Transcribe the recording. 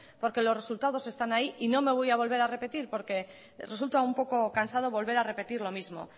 porque los resultados están ahí y no me voy a volver a repetir porque resulta un poco cansado volver a repetir lo mismo